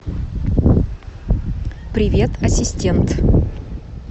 привет ассистент